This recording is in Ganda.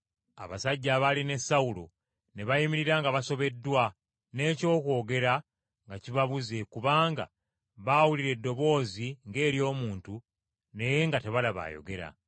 Abasajja abaali ne Sawulo ne bayimirira nga basobeddwa n’ekyokwogera nga kibabuze kubanga baawulira eddoboozi ng’ery’omuntu naye nga tebalaba ayogera.